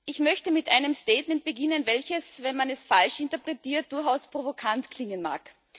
Ich möchte mit einem Statement beginnen, welches, wenn man es falsch interpretiert, durchaus provokant klingen mag.